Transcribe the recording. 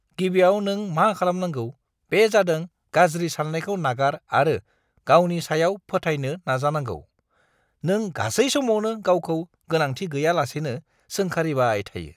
गिबियाव नों मा खालामनांगौ बे जादों गाज्रि साननायखौ नागार आरो गावनि सायाव फोथायनो जागायनांगौ। नों गासै समावनो गावखौ गोनांथि गैयालासेनो सोंखारिबाय थायो।